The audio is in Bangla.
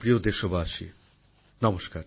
আমার প্রিয় দেশবাসী নমস্কার